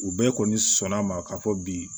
U bɛɛ kɔni sɔnn'a ma k'a fɔ bi